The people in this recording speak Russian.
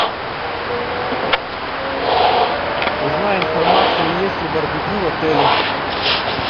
узнай информацию есть ли барбекю в отеле